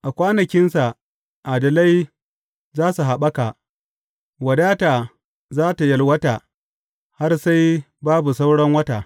A kwanakinsa adalai za su haɓaka wadata za tă yalwata har sai babu sauran wata.